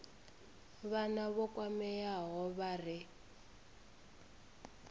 vhana vho kwameaho vha re